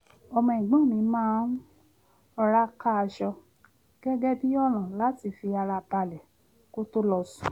ọmọ ẹ̀gbọ́n mi máa ń rọra ká aṣọ gẹ́gẹ́ bí ọ̀nà láti fi ara balẹ̀ kó tó lọ sùn